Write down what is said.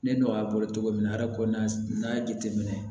Ne n'o y'a bolo cogo min na ara ko n'a y'a jateminɛ